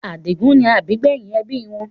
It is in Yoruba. Adigun ni àbígbẹ́yìn ẹbí wọn.